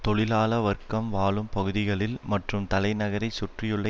தொழிலாள வர்க்கம் வாழும் பகுதிகளில் மற்றும் தலைநகரைச் சுற்றியுள்ள